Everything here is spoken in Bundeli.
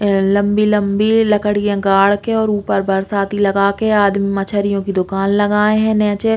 ए लम्बी-लम्बी लकड़ीए गाढ़ के और ऊपर बरसाती लगा के आदमी मछरियों की दुकान लगाए है नीचे।